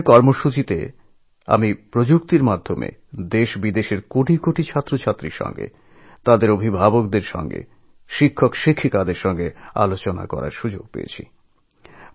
এই town hall কার্যক্রমে টেকনলোজির সাহায্যে দেশবিদেশের কয়েক কোটি ছাত্রছাত্রীদের সঙ্গেতাদের অভিভাবকদের সঙ্গেটিচারদের সঙ্গে কথা বলার অবকাশ হয়েছিল